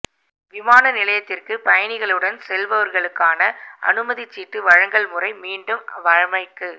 விமான நிலையத்திற்கு பயணிகளுடன் செல்பவர்களுக்கான அனுமதிச் சீட்டு வழங்கல் முறை மீண்டும் வழமைக்கு